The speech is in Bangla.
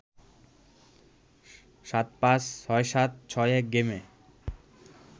৭-৫, ৬-৭, ৬-১ গেমে